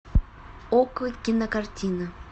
окко кинокартина